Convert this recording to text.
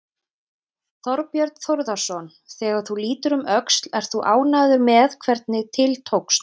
Þorbjörn Þórðarson: Þegar þú lítur um öxl, ert þú ánægður með hvernig til tókst?